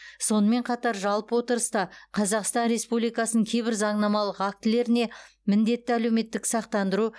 сонымен қатар жалпы отырыста қазақстан республикасының кейбір заңнамалық актілеріне міндетті әлеуметтік сақтандыру